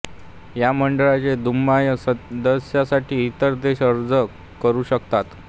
या मंडळाचे दुय्यम सदस्यत्वासाठी इतर देश अर्ज करू शकतात